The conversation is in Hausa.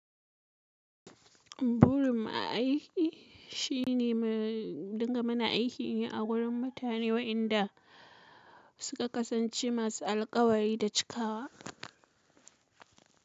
Burin aiki shine in dinga muna aiki ne a wurin mutane waenda, suka kasance masu alkawari da cikawa.